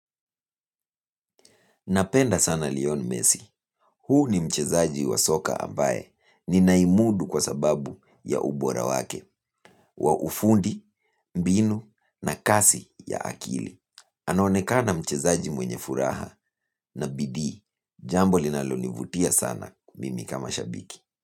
Napenda sana Leon Messi. Huu ni mchezaji wa soka ambaye ninahimudu kwa sababu ya ubora wake wa ufundi, mbinu na kasi ya akili. Anaonekana mchezaji mwenye furaha na bidii. Jambo linalonivutia sana mimi kama shabiki.